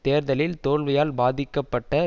தேர்தலில் தோல்வியால் பாதிக்கப்பட்ட